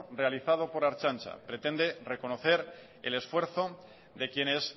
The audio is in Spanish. realizado por la ertzaintza pretende reconocer el esfuerzo de quienes